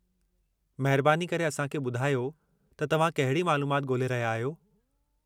महिरबानी करे असां खे ॿुधायो त तव्हां कहिड़ी मालूमात ॻोल्हे रहिया आहियो?